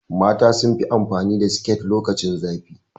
Mata sunfi amfani da siket lokacin zafi